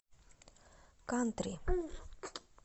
кантри